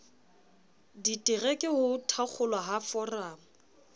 ditereke ho thakgolwa ha foramo